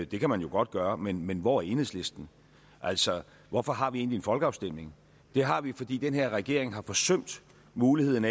det kan man jo godt gøre men men hvor er enhedslisten altså hvorfor har vi egentlig en folkeafstemning det har vi fordi den her regering har forsømt muligheden